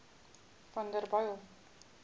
vanderbijl